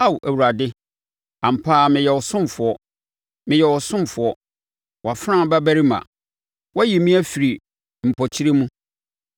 Ao Awurade, ampa ara meyɛ wo ɔsomfoɔ; meyɛ wo ɔsomfoɔ, wʼafenaa babarima; wayi me afiri me mpɔkyerɛ mu.